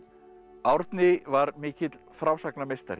Árni var mikill